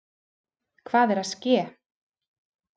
Hvað er að ske!